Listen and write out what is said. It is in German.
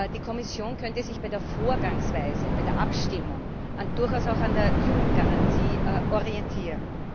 Die Kommission könnte sich bei der Vorgangsweise, bei der Abstimmung durchaus auch an der Jugendgarantie orientieren.